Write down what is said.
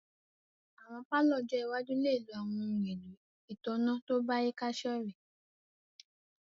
Awọn palọ ọ́jọ iwaju le lo awọn ohun elo itanna to bayika sorẹ̀